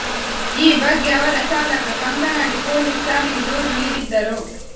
ಈ ಬಗ್ಗೆ ಅವರ ಚಾಲಕ ಕಂಕನಾಡಿ ಪೊಲೀಸ್ ಠಾಣೆಗೆ ದೂರು ನೀಡಿದ್ದರು